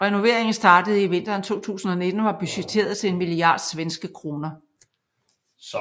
Renoveringen startede i vinteren 2019 og var budgetteret til en milliard svenske kroner